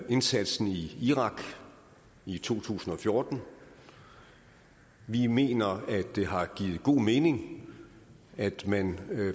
indsatsen i irak i to tusind og fjorten vi mener at det har givet god mening at man